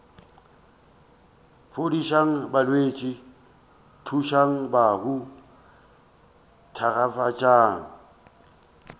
fodišang balwetši tsošang bahu thakgafatšang